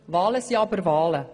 Wahlen sind aber Wahlen.